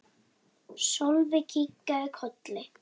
Sölvi kinkaði kolli.